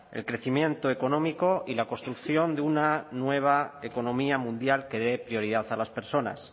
el crecimiento económico y la construcción de una nueva economía mundial que dé prioridad a las personas